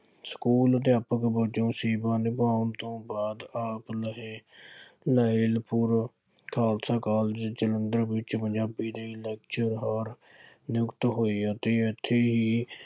school ਅਧਿਆਪਕ ਵਜੋਂ ਸੇਵਾ ਨਿਭਾਉਣ ਤੋਂ ਬਾਅਦ ਆਪ ਲਹੇ ਲਾਇਲਪੁਰ ਖਾਲਸਾ ਕਾਲਜ ਜਲੰਧਰ ਵਿੱਚ ਪੰਜਾਬੀ ਦੇ ਲੈਕਚਰਾਰ ਨਿਯੁਕਤ ਹੋਏ ਅਤੇ ਇੱਥੇ ਹੀ